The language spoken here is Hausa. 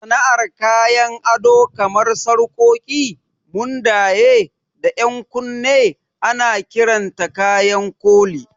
Sana'ar kayan ado kamar sarƙoƙi, mundaye, da 'yan kunne ana kiranta kayan koli.